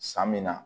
San min na